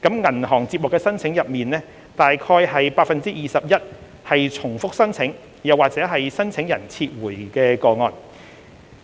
銀行接獲的申請中，約 21% 為重複申請或申請人撤回的個案。